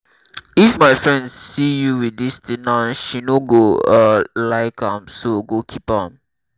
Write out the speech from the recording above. if my friend see you with dis thing now she no go um like am so go keep am